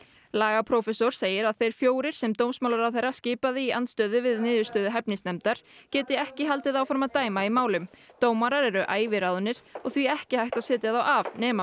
lagaprófessor segir að þeir fjórir sem dómsmálaráðherra skipaði í andstöðu við niðurstöðu hæfnisnefndar geti ekki haldið áfram að dæma í málum dómarar eru æviráðnir og því ekki hægt að setja þá af nema